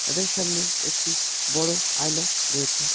তাদের সামনে একটি বড় আয়না রয়েছে।